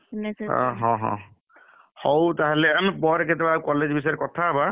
ଏ ହଁ ହଁ, ହଉ ତାହେଲେ ଆମେ ପରେକେତବେଳେ college ବିଷୟରେ କଥା ହେବା।